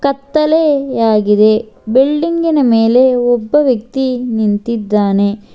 ಕತ್ತಲೆಯಾಗಿದೆ ಬಿಲ್ಡಿಂಗಿನ ಮೇಲೆ ಒಬ್ಬ ವ್ಯಕ್ತಿ ನಿಂತಿದ್ದಾನೆ.